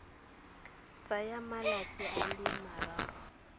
tsaya malatsi a le mararo